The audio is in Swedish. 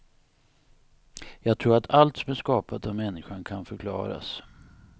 Jag tror att allt som är skapat av människan kan förklaras.